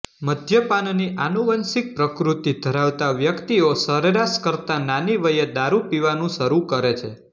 મદ્યપાનની આનુવંશિક પ્રકૃતિ ધરાવતા વ્યક્તિઓ સરેરાશ કરતાં નાની વયે દારૂ પીવાનું શરૂ કરે છે